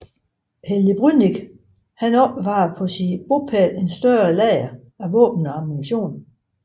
Helge Brünnich opbevarede på sin bopæl et større lager af våben og ammunition